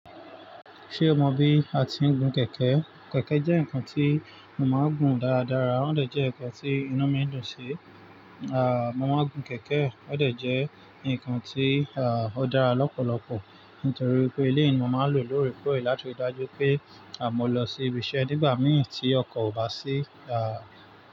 Ṣé o mọ bí a ti ń gun kẹ̀kẹ́? Kẹ̀kẹ́ jẹ́ ǹkan tí mo máa ń gun dáradára. Ó dẹ̀ jẹ́ ǹkan tí inú mi dùn sí. À, mo máa ń gun kẹ̀kẹ́. Ó dẹ̀ jẹ́ ǹkan tí, à, ó dára lọ́pọ̀lọpọ̀. Nítorí pé ilé mi máa ń lò ó lóore kóòrè láti dájú pé, à, mo lọ sí ibi iṣẹ́ nígbà mìíràn tí ọkọ̀ ò bá sí, à.